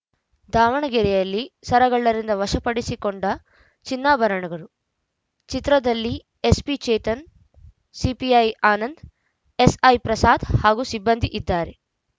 ದಾವಣಗೆರೆಯಲ್ಲಿ ಸರಗಳ್ಳರಿಂದ ವಶಪಡಿಸಿಕೊಂಡ ಚಿನ್ನಾಭರಣಗಳು ಚಿತ್ರದಲ್ಲಿ SP Chetan CPI Anand SI Prasad ಹಾಗೂ ಸಿಬ್ಬಂದಿ ಇದ್ದಾರೆ